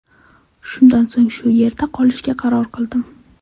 Shundan so‘ng shu yerda qolishga qaror qildim.